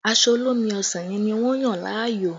Aṣọ olómi ọsàn yẹn ni wọ́n yàn láàyò